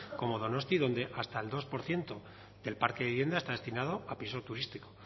como donosti donde hasta el dos por ciento del parque de viviendas está destinado a piso turístico